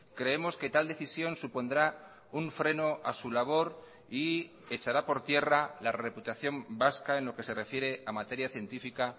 creemos que tal decisión supondrá un freno a su labor y echará por tierra la reputación vasca en lo que se refiere a materia científica